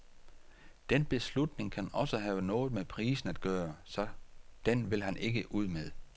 Den beslutning kan også have noget med prisen at gøre, så den vil han ikke ud med.